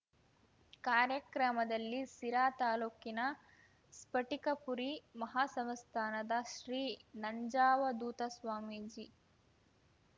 ಕಾರ್ಯಕ್ರಮದಲ್ಲಿ ಸಿರಾ ತಾಲೂಕಿನ ಸ್ಫಟಿಕಪುರಿ ಮಹಾಸಂಸ್ಥಾನದ ಶ್ರೀ ನಂಜಾವಧೂತ ಸ್ವಾಮೀಜಿ